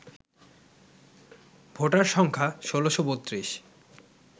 voter সংখ্যা ১৬৩২